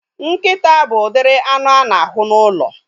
Nkịta bụ udiri anụ a na-ahụ n'ụlọ